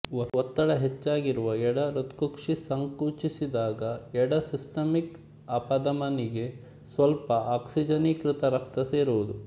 ಒತ್ತಡ ಹೆಚ್ಚಾಗಿರುವ ಎಡಹೃತ್ಕುಕ್ಷಿ ಸಂಕುಚಿಸಿದಾಗ ಎಡ ಸಿಸ್ಟಮಿಕ್ ಅಪಧಮನಿಗೆ ಸ್ವಲ್ಪ ಆಕ್ಸಿಜನೀಕೃತ ರಕ್ತ ಸೇರುವುದು